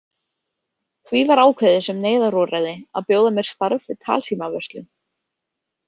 Því var ákveðið sem neyðarúrræði að bjóða mér starf við talsímavörslu.